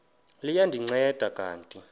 liya ndinceda kanti